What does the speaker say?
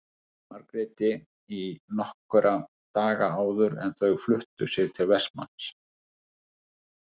Margréti í nokkra daga áður en þau fluttu sig til Vestmanns.